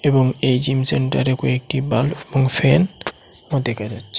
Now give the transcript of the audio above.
এবং এই জিম সেন্টারে কয়েকটি বাল্ব এবং ফ্যান ও দেকা যাচ্ছে।